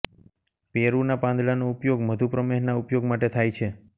પેરુના પાંદડાનો ઉપયોગ મધુપ્રમેહના ઉપયોગ માટે થાય છે